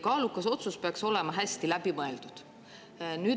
Kaalukas otsus peaks olema hästi läbi mõeldud.